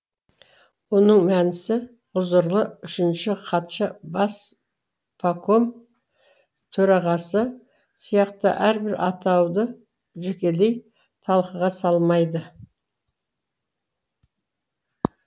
оның мәнісі ғұзырлы үшінші хатшы баспаком төрағасы сияқты әрбір атауды жекелей талқыға салмайды